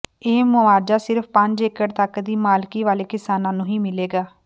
ਇਹ ਮੁਆਵਜ਼ਾ ਸਿਰਫ ਪੰਜ ਏਕੜ ਤਕ ਦੀ ਮਾਲਕੀ ਵਾਲੇ ਕਿਸਾਨਾਂ ਨੂੰ ਹੀ ਮਿਲੇਗਾ